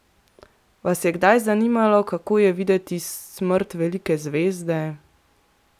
Vas je kdaj zanimalo, kako je videti smrt velike zvezde?